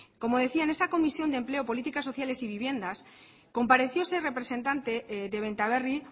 como decía en esa comisión de empleo política sociales y viviendas compareció ese representante de benta berri